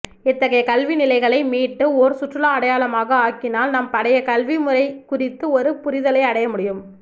இத்தகைய கல்விநிலைகளை மீட்டு ஓர் சுற்றுலா அடையாளமாக ஆக்கினால் நம் பழைய கல்விமுறை குறித்த ஒரு புரிதலை அடையமுடியும்